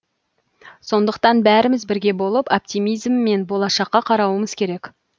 сондықтан бәріміз бірге болып оптимизммен болашаққа қарауымыз керек